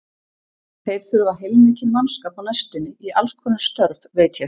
Þeir þurfa heilmikinn mannskap á næstunni í allskonar störf, veit ég.